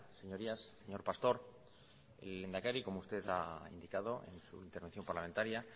señorías señor pastor el lehendakari como usted ha indicado en su intervención parlamentaria